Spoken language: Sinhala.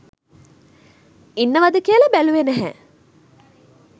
ඉනන්වද කියලා බැලුවේ නැහැ.